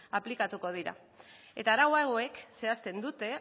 aplikatuko dira eta arau hauek zehazten dute